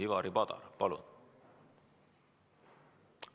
Ivari Padar, palun!